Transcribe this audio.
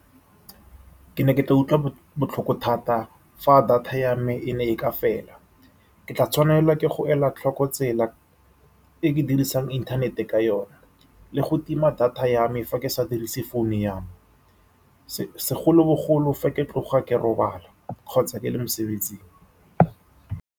Ke ne ke tla utlwa botlhoko thata fa data ya me e ne e ka fela. Ke tla tshwanelwa ke go ela tlhoko tsela e ke dirisang internet-e ka yone, le go tima data ya me fa ke sa dirise phone ya me segolobogolo fa ke tloga ke robala kgotsa ke le mosebetsing.